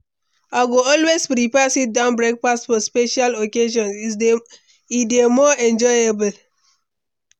I go always prefer sit-down breakfast for special occasions; e dey more enjoyable.